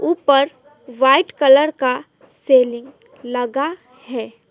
ऊपर white colour का ceiling लगा है।